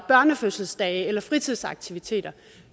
børnefødselsdage eller fritidsaktiviteter